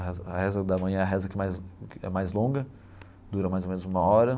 A reza a reza da manhã é a reza que mais que é mais longa, dura mais ou menos uma hora.